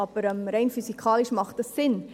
Aber rein physikalisch macht das Sinn: